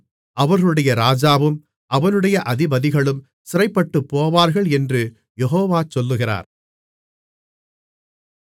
அவர்களுடைய ராஜாவும் அவனுடைய அதிபதிகளும் சிறைப்பட்டுப்போவார்கள் என்று யெகோவா சொல்லுகிறார்